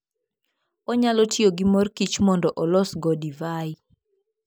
Onyalo tiyo gi mor kich mondo olosgo divai.